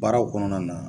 Baaraw kɔnɔna na